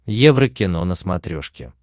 еврокино на смотрешке